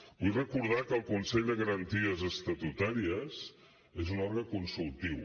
vull recordar que el consell de garanties estatutàries és un òrgan consultiu